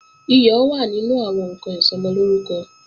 Iyọ̀ wà nínú àwọn ǹkan Ìsọmọlórúkọ